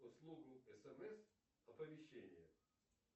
услугу смс оповещение